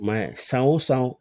I ma ye san o san